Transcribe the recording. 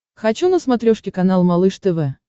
хочу на смотрешке канал малыш тв